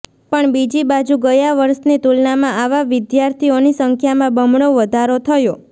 પણ બીજી બાજુ ગયા વર્ષની તુલનામાં આવા વિદ્યાથીઓની સંખ્યામાં બમણો વધારો થયો